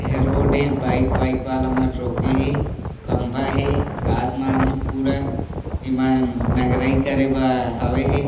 ऐ हा रोड ऐ बाइक वाइक वाला मन रोके हे खम्भा हे आसमान हे पूरा एमन नंगरई करे बा हावे हे।